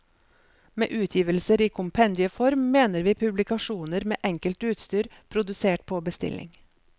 Med utgivelser i kompendieform mener vi publikasjoner med enkelt utstyr, produsert på bestilling.